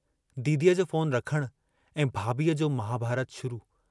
दीदीअ जो फोन रखणु ऐं भाभीअ जो महाभारतु शुरु।